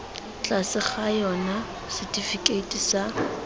tlase ga yona setifikeiti sa